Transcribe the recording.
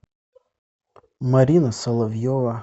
марина соловьева